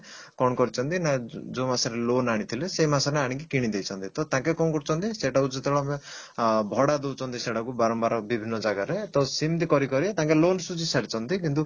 କଣ କରିଛନ୍ତି ନା ଯଉ ମାସରେ loan ଆଣିଥିଲେ ସେ ମାସରେ ଆଣିକି କିଣିଦେଇଛନ୍ତି ତ ଟାଙ୍କେ କଣ କରୁଛନ୍ତି ସେଇଟାକୁ ଯେତେବେଳେ ଆମେ ଆ ଭଡା ଦଉଛନ୍ତି ସେଟାକୁ ବାରମ୍ବାର ବିଭିନ୍ନ ଜାଗାରେ ତ ସିମିତି କରି ଟାଙ୍କେ loan ସୁଝି ସାରିଛନ୍ତି କିନ୍ତୁ